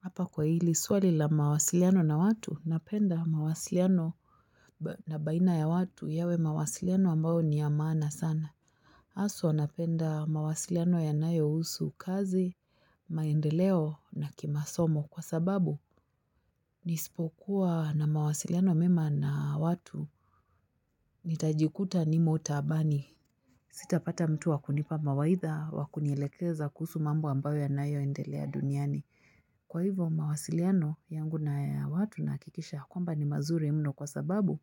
Hapa kwa hili swali la mawasiliano na watu napenda mawasiliano na baina ya watu yawe mawasiliano ambao ni ya maana sana. Haswa napenda mawasiliano yanayohusu kazi, maendeleo na kimasomo kwa sababu nisipokuwa na mawasiliano mema na watu nitajikuta nimo taabani. Sitapata mtu wakunipa mawaidha wakunielekeza kuhusu mambo ambayo yanayoendelea duniani. Kwa hivo mawasiliano yangu na ya watu nahakikisha kwamba ni mazuri mno kwa sababu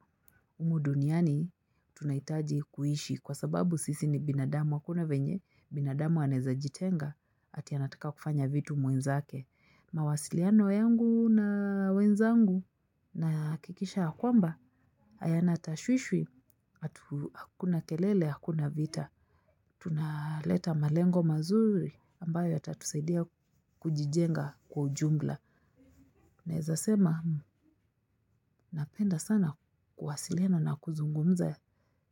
humu duniani tunahitaji kuishi kwa sababu sisi ni binadamu hakuna venye, binadamu anaezajitenga ati anataka kufanya vitu mwenzake. Mawasiliano yangu na wenzangu nahakikisha ya kwamba hayana tashwishwi, hakuna kelele, hakuna vita. Tunaleta malengo mazuri ambayo yatatusaidia kujijenga kwa ujumla. Naezasema napenda sana kuwasiliano na kuzungumza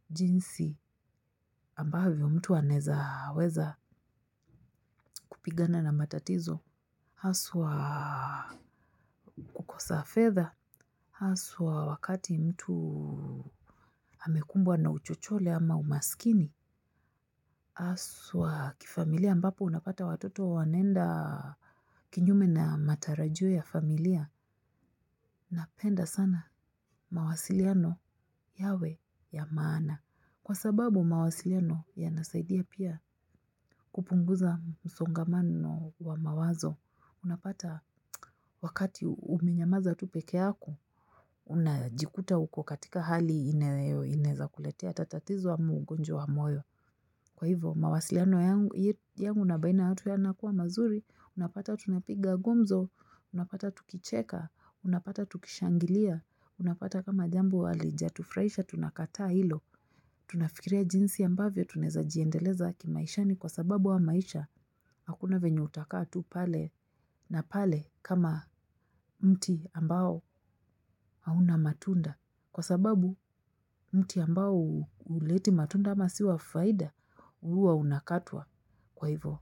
jinsi ambavyo mtu anaezaweza kupigana na matatizo. Haswa kukosa fedha, haswa wakati mtu amekumbwa na uchochole ama umaskini, haswa kifamilia ambapo unapata watoto wanaenda kinyume na matarajio ya familia, napenda sana mawasiliano yawe ya maana. Kwa sababu mawasiliano yanasaidia pia kupunguza msongamano wa mawazo, unapata wakati umenyamaza tu peke yako, unajikuta uko katika hali inaezakuletea hata tatizo ama ugonjwa wa moyo. Kwa hivyo, mawasiliano yangu na baina ya watu yanakuwa mazuri, unapata tunapiga gumzo, unapata tukicheka, unapata tukishangilia, unapata kama jambo halijatufurahisha tunakataa hilo. Tunafikiria jinsi ambavyo tunaezajiendeleza kimaishani kwa sababu haya maisha. Hakuna venye utakaa tu pale na pale kama mti ambao hauna matunda. Kwa sababu mti ambao huleti matunda ama si wa faida huwa unakatwa kwa hivo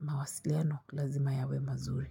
mawasiliano lazima yawe mazuri.